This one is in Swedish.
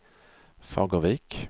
Fagervik